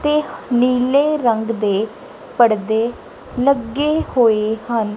ਤੇ ਨੀਲੇ ਰੰਗ ਦੇ ਪੜਦੇ ਲੱਗੇ ਹੋਏ ਹਨ।